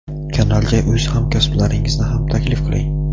Kanalga o‘z hamkasblaringizni ham taklif qiling.